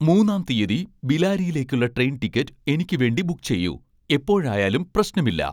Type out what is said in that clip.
മൂന്നാം തീയ്യതി ബിലാരിയിലേക്കുള്ള ട്രെയിൻ ടിക്കറ്റ് എനിക്ക് വേണ്ടി ബുക്ക് ചെയ്യൂ എപ്പോഴായാലും പ്രശ്നമില്ല